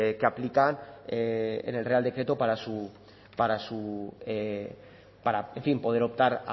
que aplican en el real decreto para su para en fin poder optar